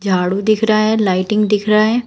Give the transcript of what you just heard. झाडू दिख रहा है लाइटिंग दिख रहा है।